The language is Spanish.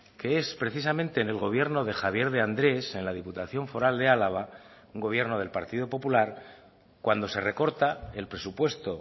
que es precisamente en el gobierno de javier de andrés en la diputación foral de álava un gobierno del partido popular cuando se recorta el presupuesto